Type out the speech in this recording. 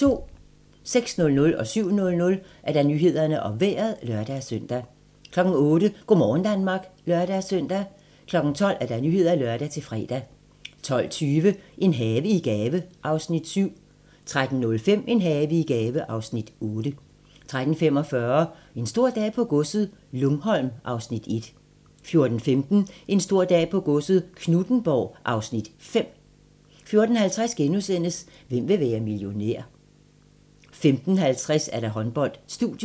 06:00: Nyhederne og Vejret (lør-søn) 07:00: Nyhederne og Vejret (lør-søn) 08:00: Go' morgen Danmark (lør-søn) 12:00: Nyhederne (lør-fre) 12:20: En have i gave (Afs. 7) 13:05: En have i gave (Afs. 8) 13:45: En stor dag på godset - Lungholm (Afs. 1) 14:15: En stor dag på godset - Knuthenborg (Afs. 5) 14:50: Hvem vil være millionær? * 15:50: Håndbold: Studiet